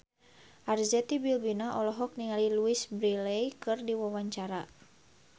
Arzetti Bilbina olohok ningali Louise Brealey keur diwawancara